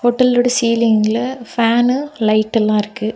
ஹோட்டலோட சீலிங்ல ஃபேன்னு லைட் எல்லா இருக்கு.